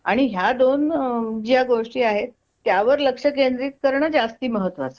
आणि ह्या दोन ज्या गोष्टी आहेत त्यावर लक्ष केंद्रित करण जास्त महत्त्वाचे आहे